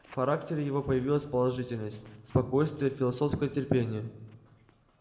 в характере его появилась положительность спокойствие философское терпение